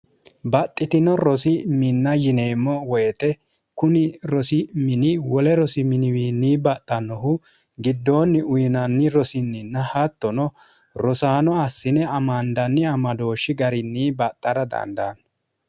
baxxitino rosi minna yineemmo woyite kuni rosi mini wole rosi miniwiinni baxxannohu giddoonni uyinanni rosinninna hattono rosaano assine amandanni amadooshshi garinni baxxara dandaanno